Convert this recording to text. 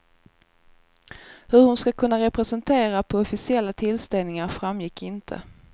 Hur hon ska kunna representera på officiella tillställningar framgick inte.